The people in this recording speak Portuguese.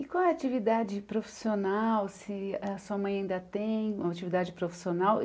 E qual a atividade profissional, se a sua mãe ainda tem uma atividade profissional? E